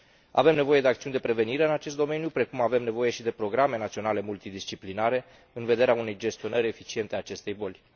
Avem nevoie de acțiuni profilactice în acest domeniu, precum avem nevoie și de programe naționale multidisciplinare în vederea unei gestionări eficiente a acestei boli.